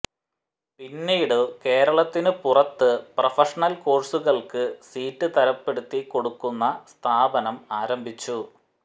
പിന്നീട് കേരളത്തിനു പുറത്ത് പ്രഫഷണൽ കോഴ്സുകൾക്ക് സീറ്റ് തരപ്പെടുത്തി കൊടുക്കുന്ന സ്ഥാപനം ആരംഭിച്ചു